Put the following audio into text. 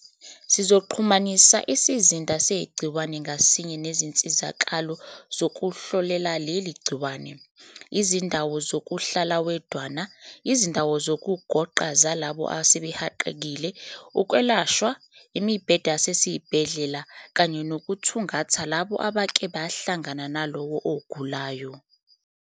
"Sizoxhumanisa isizinda segciwane ngasinye nezinsizakalo zokuhlolela leli gciwane, izindawo zokuhlala wedwana, izindawo zokugonqa zalabo asebehaqekile, ukwelashwa, imibhede yasesibhedlela kanye nokuthungatha labo abake bahlangana nalowo ogulayo."